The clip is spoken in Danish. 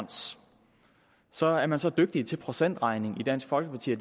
så er man så dygtige til procentregning i dansk folkeparti at